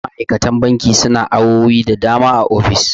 ma'aikatan banki suna awowi da dama a ofis